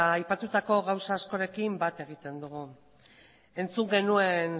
aipatutako gauza askorekin bat egiten dugu entzun genuen